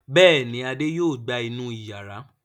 Bẹ́ẹ̀ ni, Adé yóò gbá inú ìyàrá.